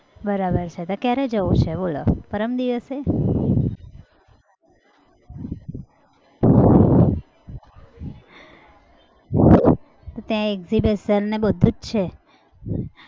બરાબર છે તો કયારે જવું છે બોલો પરમ દિવસે? ત્યાં exhibition ને બધું જ છે.